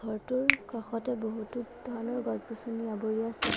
ঘৰটোৰ কাষতে বহুতো ধৰণৰ গছ গছনি আৱৰি আছে।